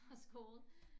Fra skole